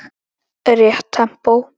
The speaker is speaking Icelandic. Rétt tempó.